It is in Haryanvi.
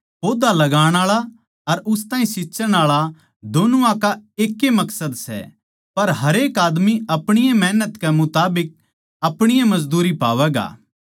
पौधा लगाण आळा अर उस ताहीं सींच्चण आळा दोनुआ का एक्के मकसद सै पर हरेक माणस अपणी ए मेहनत कै मुताबिक अपणी ए मजदूरी पावैगा